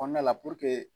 Kɔnɔna la